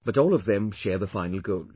But all of them share the same final goal